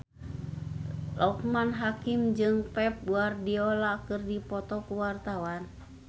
Loekman Hakim jeung Pep Guardiola keur dipoto ku wartawan